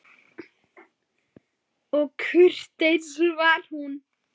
Og kurteis var hún.